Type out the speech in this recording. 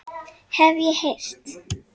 Hef ég heyrt.